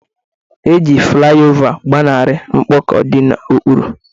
Eji fulaiova gbanarị mkpọkọ di n'okpuru.